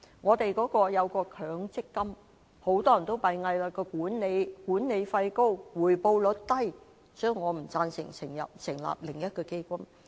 至於強制性公積金，很多人都擔心其管理費高，而且回報率低，所以我不贊成成立另一個基金。